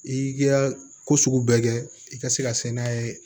I ka ko sugu bɛɛ kɛ i ka se ka se n'a ye